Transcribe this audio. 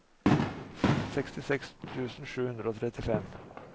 sekstiseks tusen sju hundre og trettifem